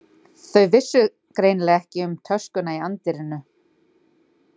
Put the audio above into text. Þau vissu greinilega ekki um töskuna í anddyrinu.